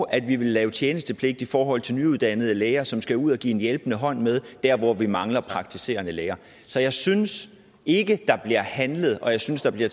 at vi vil lave tjenestepligt i forhold til nyuddannede læger som skal ud at give en hjælpende hånd med der hvor vi mangler praktiserende læger så jeg synes ikke der bliver handlet og jeg synes der bliver